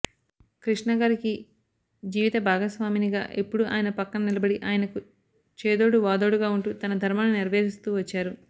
కృష్ణగారికి జీవిత భాగస్వామినిగా ఎప్పుడూ ఆయన పక్కన నిలబడి ఆయనకు చేదోడు వాదోడుగా ఉంటూ తన ధర్మాన్ని నెరవేరుస్తూ వచ్చారు